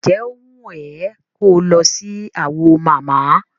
Ǹjẹ́ ó wùn ẹ ko lọ sí Awo mama?